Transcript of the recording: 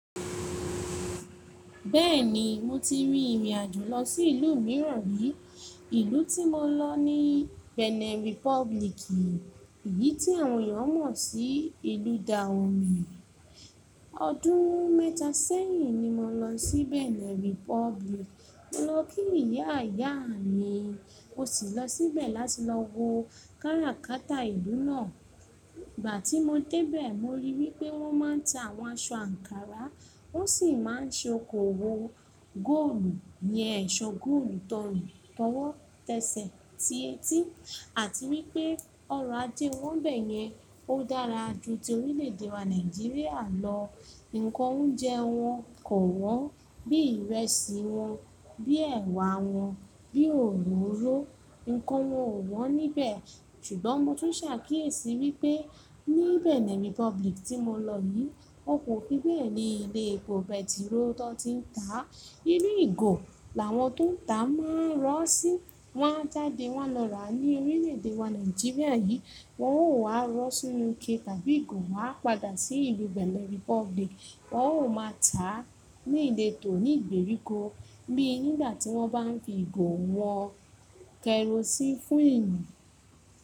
Bẹ́ẹ̀ni, mo ti ri ìrìn àjò lọ sí ìlú mìíràn rí. Ìlú tí mo lọ ní Benin Republic, èyí tí àwọn èèyàn mọ̀ sí ìlú Dahomey. Ọdún mẹ́ta sẹ́yìn ni mo lọ sí Benin Republic. Mo lọ kí Ìyá Ìyá mi, mo sì lọ síbẹ̀ láti lọ wo kára kátà ìlú náà. Ìgbà tí mo dé bẹ̀, mo rí wípé wọ́n máa ń ta àwọn aṣọ ankara, wón sì máa ń ṣe okòwò góòlù, iyen ẹ̀ṣọ́ góòlù tọ̀run, tọwọ́, tẹ́sẹ̀, ti etí àti wípé ọrọ̀ ajé wọn n bẹ́yẹn, ó dára ju ti orílẹ̀èdè wa Nàìjíríà lọ. Ǹǹkan oúnjẹ wọn kò wọ́n, bí ìrẹsì wọn, bí ẹ̀wà wọn, bí òróró, ǹkan wọn ò wọ́n níbẹ̀. Ṣùgbọ́n mo tún ṣàkíyèsí wípé ní Benin Republic tí mo lọ yìí, won kò fí bẹ́ẹ̀ ni ilé epo pẹtiró tó ti ń tà. Inu ìgò làwọn tó ń tà máa ń rọ́ sí, wọ́n jáde wọ́n na rà ní orílẹ̀èdè wa Nàìjíríà yìí, wọn ó wá rọ́ sínú ike tàbí ìgò wá padà sí ìlú Benin Republic. Wọn ò máa tà á ní ìletò ní ìgbèríko bí nígbà tí wọ́n bá fi ìgò wọn kerosene fún ìlo.